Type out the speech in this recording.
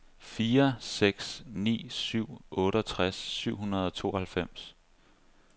fire seks ni syv otteogtres syv hundrede og tooghalvfems